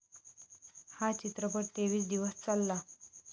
हा चित्रपट तेवीस दिवस चालला.